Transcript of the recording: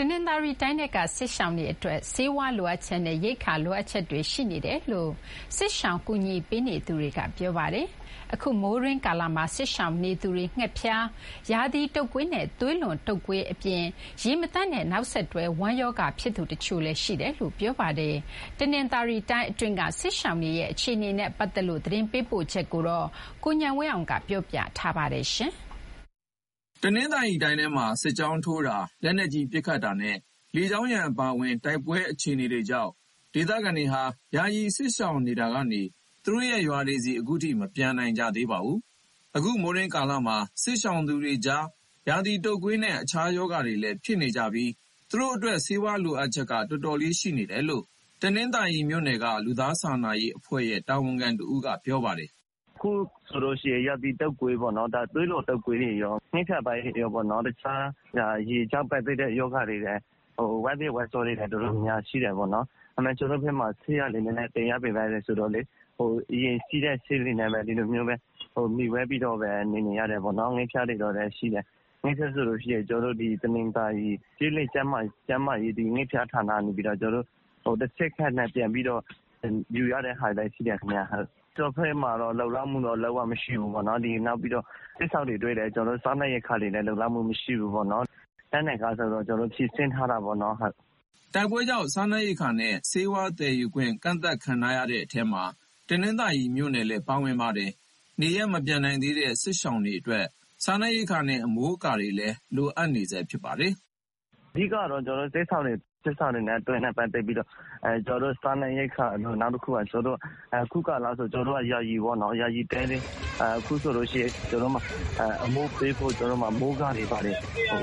တနင်္သာရီတိုင်းထဲက စစ်ရှောင်တွေအတွက် ဆေးဝါးလိုအပ်ချက်နဲ့ ရိက္ခာလိုအပ်ချက်တွေ ရှိနေတယ်လို့ စစ်ရှောင်ကူညီပေးနေသူတွေက ပြောပါတယ်။ အခုမိုးတွင်းကာလမှာ စစ်ရှောင်နေသူတွေ ငှက်ဖျား၊ ရာသီတုပ်ကွေးနဲ့ သွေးလွန်တုပ်ကွေးအပြင် ရေမသန့်တဲ့နောက်ဆက်တွဲ ဝမ်းရောဂါဖြစ်သူတချို့လည်း ရှိတယ်လို့ ပြောပါတယ်။ တနင်္သာရီတိုင်းအတွင်းက စစ်ရှောင်တွေရဲ့ အခြေအနေနဲ့ပတ်သက်လို့ သတင်းပေးပို့ချက်ကို ကိုဉာဏ်ဝင်းအောင်က တင်ပြပေးထားပါတယ်။ တနင်္သာရီတိုင်းထဲမှာ စစ်ကြောင်းထိုးတာ၊ လက်နက်ကြီးပစ်ခတ်တာနဲ့ လေကြောင်းရန်အပါအဝင် တိုက်ပွဲတွေကြောင့် ဒေသခံတွေဟာ ယာယီစစ်ရှောင်တာကနေ သူတို့ရဲ့ရွာတွေဆီ အခုချိန်ထိ မပြန်နိုင်ကြသေးပါဘူး။ အခု မိုးတွင်းကာလမှာ စစ်ရှောင်သူတွေကြား ရာသီတုပ်ကွေးနဲ့ တခြားရောဂါတွေလည်းဖြစ်နေကြပြီး ဆေးဝါးတွေ တော်တော်လေး လိုအပ်နေတယ်လို့ တနင်္သာရီမြို့နယ်က လူသားစာနာအဖွဲ့ရဲ့ တာဝန်ခံတဦးက ပြောပါတယ်။ "အခုဆိုရင် ရာသီတုပ်ကွေး၊ သွေးလွန်တုပ်ကွေးနဲ့ ငှက်ဖျားဖြစ်ကြတာရော၊ ရေကြောင့်ဖြစ်တဲ့ရောဂါ ဝမ်းပျက်ဝမ်းလျှော တွေလည်း တော်တော်များများ ရှိတယ်ပေါ့နော်။ ဒါပေမဲ့ ကျနော်တို့ဘက်မှာ ဆေးကလည်းသယ်ရခက်တော့ အရေးကြီးတဲ့ဆေးတွေနဲ့ပဲ မှီဝဲပြီးတော့နေ နေရတယ်ပေါ့နော်။ ငှက်ဖျားဆိုရင် ကျနော်တို့တနင်္သာရီ ကျေးလက်ကျန်းမာရေး ငှက်ဖျားဌာနကနေပြီးတော့ တဆင့်ခံပြန်ယူရတာလည်းရှိတယ်။ ဆေးဝါးကတော့ ကျနော်တို့ဘက်မှာ လုံလောက်မှု လုံးဝမရှိဘူး။ စစ်ရှောင်တွေအတွက်လည်း စားနပ်ရိက္ခာ လုံလောက်မှုမရှိဘူး။ လောလောဆယ်မှာ ကျနော်တို့ဘက်က အလှူငွေရတဲ့ဟာနဲ့ပဲ တတ်နိုင်သလောက်တော့ ဖြည့်တင်းထားတာပေါ့နော်။" တိုက်ပွဲကြောင့် စားနပ်ရိက္ခာနဲ့ ဆေးဝါးသယ်ယူခွင့် ကန့်သတ်ခံထားရတဲ့ အထဲမှာ တနင်္သာရီမြို့နယ်လည်း ပါဝင်ပါတယ်။ နေရပ်မပြန်နိုင်သေးတဲ့ စစ်ရှောင်တွေအတွက် စားနပ်ရိက္ခာနဲ့ အမိုးအကာတွေလည်း လိုအပ်နေတာပါ။ "အဓိကတော့ စစ်ရှောင်တွေနဲ့ ပတ်သက်ပြီးတော့ စားနပ်ရိက္ခာလိုတယ်။ နောက်တခုက အခုကာလဆို ယာယီတဲတွေ လိုတယ်။ အခုစစ်ရှောင်နေရတဲ့ ရွာတွေဘက်ကလာရင် ကျနော်တို့ဘက်က အမိုးပေးဖို့ မိုးကာတွေဘာတွေ